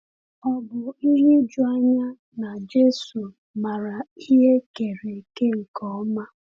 Ò bụ ihe ijuanya na Jésù maara ihe e kere eke nke ọma?